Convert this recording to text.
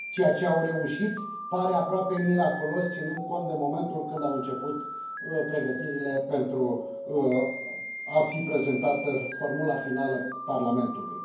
Ceea ce au reușit pare aproape miraculos ținând cont de momentul când au început pregătirile pentru a fi prezentată formula finală Parlamentului.